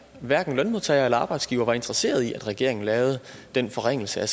hverken lønmodtagere eller arbejdsgivere var interesseret i at regeringen lavede den forringelse af